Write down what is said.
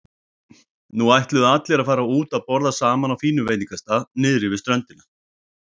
Nú ætluðu allir að fara út að borða saman á fínum veitingastað niðri við ströndina.